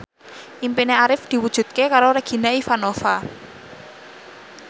impine Arif diwujudke karo Regina Ivanova